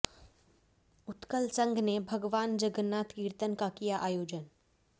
उतकल संघ ने भगवान जगन्नाथ कीर्तन का किया आयोजन